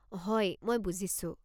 হয়, মই বুজিছোঁ।